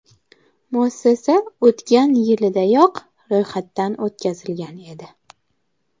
Muassasa o‘tgan yildayoq ro‘yxatdan o‘tkazilgan edi.